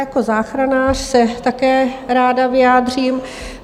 Jako záchranář se také ráda vyjádřím.